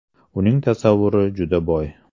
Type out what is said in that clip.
Uning tasavvuri juda boy.